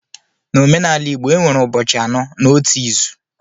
N'omenala igbo enwere ụbọchị anọ n'otu izu